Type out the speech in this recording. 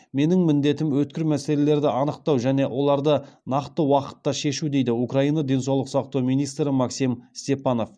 менің міндетім өткір мәселелерді анықтау және оларды нақты уақытта шешу дейді украина денсаулық сақтау министрі максим степанов